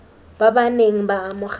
ba ba neng ba amogela